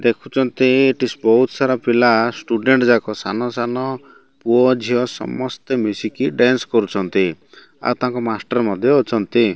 ଦେଖୁଛନ୍ତି ଏଠି ବହୁତ ସାରା ପିଲା ଷ୍ଟୁଡେଣ୍ଟ୍ ଜାକ ସାନ-ସାନ ପୁଅ ଝିଅ ସମସ୍ତେ ମିଶିକି ଡ୍ୟାନସ୍ କରୁଛନ୍ତି ଆଉ ତାଙ୍କ ମାଷ୍ଟର ମଧ୍ୟ ଅଛନ୍ତି।